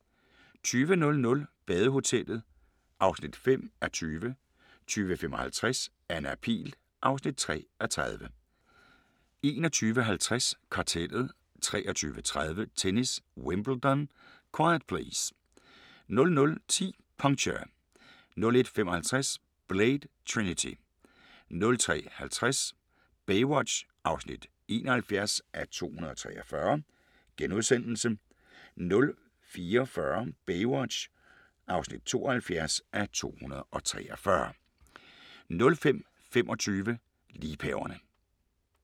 20:00: Badehotellet (5:20) 20:55: Anna Pihl (3:30) 21:50: Kartellet 23:30: Tennis: Wimbledon - quiet please! 00:10: Puncture 01:55: Blade: Trinity 03:50: Baywatch (71:243)* 04:40: Baywatch (72:243)* 05:25: Liebhaverne